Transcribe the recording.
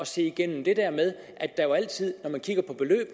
se igennem det der med at der jo altid